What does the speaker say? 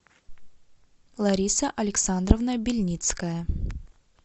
лариса александровна бельницкая